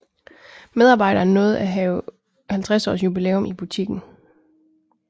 Medarbejderen nåede at have 50 års jubilæum i butikken